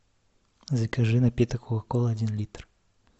закажи напиток кока кола один литр